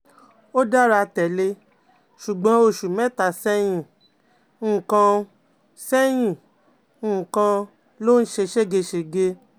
Ó dára tẹ́lẹ̀, ṣùgbọ́n oṣù mẹ́ta sẹ́yìn nìkan um sẹ́yìn nìkan um ló ń ṣe ségesège um